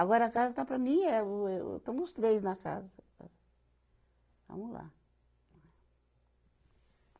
Agora a casa está para mim, eu estamos os três na casa. Estamos lá.